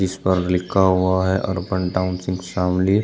इस पर लिखा हुआ है अर्बन टाऊनशिप शामली।